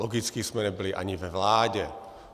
Logicky jsme nebyli ani ve vládě.